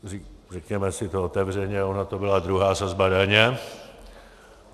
Řekněme si to otevřeně, ona to byla druhá sazba daně.